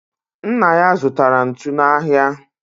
Nna ya zụtara ntu n'ahịa